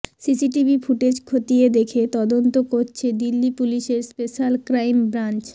CCTV footage খতিয়ে দেখে তদন্ত করছে দিল্লি পুলিশের স্পেশ্যাল ক্রাইম ব্রাঞ্চ